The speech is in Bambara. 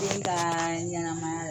den ka ɲɛnɛmaya la